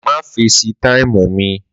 Má fesi táìmù mi